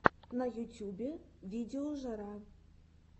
на ютюбе видеожара